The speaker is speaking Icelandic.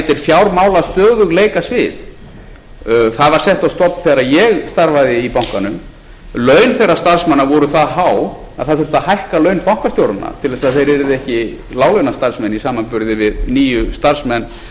fjármálastöðugleikasvið það var sett á stofn þegar ég starfaði í bankanum laun þeirra starfsmanna voru það há að það þurfti að hækka laun bankastjóranna til þess að þeir yrðu ekki láglaunastarfsmenn í samanburði við nýju starfsmenn þessa fjármálastöðugleikasviðs hvað gerði